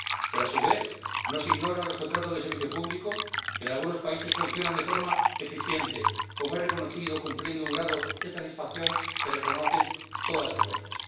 Pero, a su vez, no se ignoran los contratos de servicio público que en algunos países funcionan de forma eficiente, como es reconocido cumpliendo un grado de satisfacción que reconocen todas las encuestas.